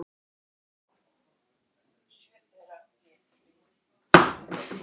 Alveg sallaróleg eins og ekkert væri að.